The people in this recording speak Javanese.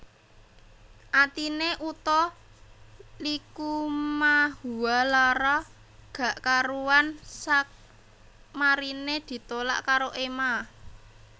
Atine Utha Likumahuwa lara gak karuan sakmarine ditolak karo Ema